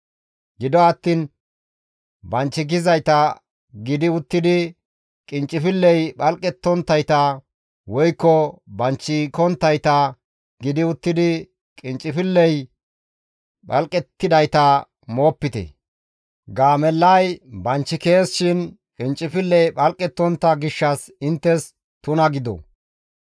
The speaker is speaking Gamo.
« ‹Gido attiin banchikizayta gidi uttidi qinccifilley phalqettonttayta woykko banchikonttayta gidi uttidi qinccifilley phalqettidayta moopite; gaamellay banchikees shin qinccifilley phalqettontta gishshas izi inttes tuna gido.